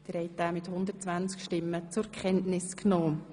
Sie haben den Bericht einstimmig zur Kenntnis genommen.